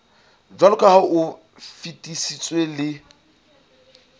jwaloka ha o fetisitswe le